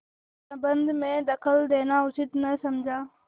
प्रबंध में दखल देना उचित न समझा